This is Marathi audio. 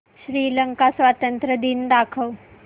श्रीलंका स्वातंत्र्य दिन दाखव